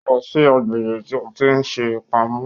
Ó lọ sí agbègbè tí a ṣe pamọ́